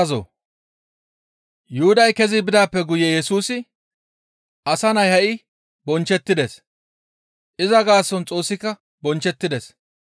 Yuhuday kezi bidaappe guye Yesusi, «Asa Nay ha7i bonchchettides; iza gaason Xoossika bonchchettides.